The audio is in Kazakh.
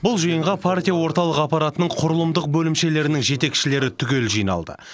бұл жиынға партия орталық аппаратының құрылымдық бөлімшелерінің жетекшілері түгел жиналды